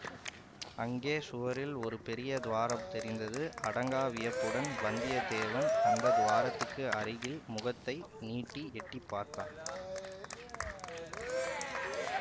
அங்கே சுவரில் ஒரு பெரிய துவாரம் தெரிந்தது அடங்கா வியப்புடன் வந்தியத்தேவன் அந்த துவாரத்துக்கு அருகில் முகத்தை நீட்டி எட்டி பார்த்தான்